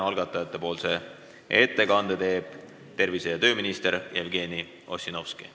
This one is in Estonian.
Algatajate ettekande teeb tervise- ja tööminister Jevgeni Ossinovski.